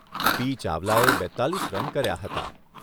પી. ચાવલાએ બેત્તાલીસ રન કર્યા હતા.